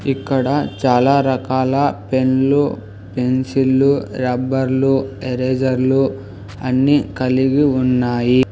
ఇక్కడ చాలా రకాల పెన్లు పెన్సిళ్లు రబ్బర్లు ఎరేజర్లు అన్నీ కలిగి ఉన్నాయి.